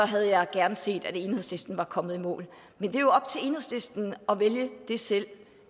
havde jeg gerne set at enhedslisten var kommet i mål men det er jo op til enhedslisten at vælge det selv og